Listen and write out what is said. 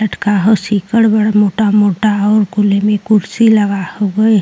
लटका हो सिकड़ बड़ मोटा मोटा और कुल एमे कुर्सी लगा हउवे।